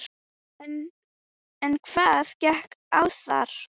En hvað gekk á þar?